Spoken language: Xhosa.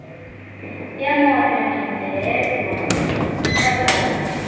yemoto ndindedwa nodade